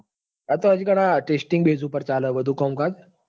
આતો હજુ કા testing base ઉપર ચાલે હ બધું કોમકાજ